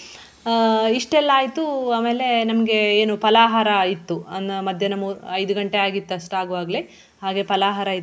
ಆಹ್ ಇಷ್ಟೆಲ್ಲ ಆಯ್ತು ಆಮೇಲೆ ನಮ್ಗೆ ಏನು ಪಲಾಹಾರ ಇತ್ತು ಅನ್ನ ಮಧ್ಯಾಹ್ನ ಮೂ~ ಐದು ಗಂಟೆ ಆಗಿತ್ತು ಅಷ್ಟಾಗುವಾಗ್ಲೆ ಹಾಗೆ ಪಲಾಹಾರ ಇತ್ತು.